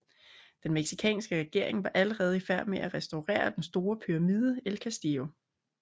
Den mexicanske regering var allerede i færd med at restaurere den store pyramide el Castillo